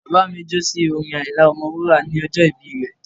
Bàbá mi jó sí orin Àyìnlá Ọmọ wúrà ní ọjọ́ ìbí rẹ̀